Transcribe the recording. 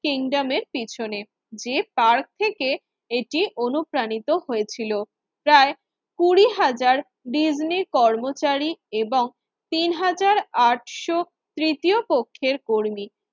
কিংডমের পিছনে। যে পার্কটি থেকে এটি অনুপ্রাণিত হয়েছিল প্রায় কুড়ি হাজার ডিজনি কর্মচারী এবং তিন হাজার আটশো তৃতীয় পক্ষের কর্মী